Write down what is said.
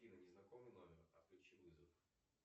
афина незнакомый номер отключи вызов